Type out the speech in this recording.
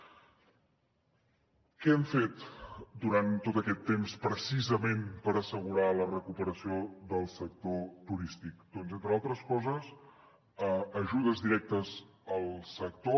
què hem fet durant tot aquest temps precisament per assegurar la recuperació del sector turístic doncs entre altres coses ajudes directes al sector